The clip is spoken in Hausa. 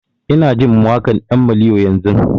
Ina jin waƙan ɗan maliyo yanzun